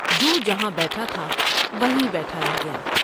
جو جہاں بیٹھا تھاو ہیں بیٹھا رہ گیا ۔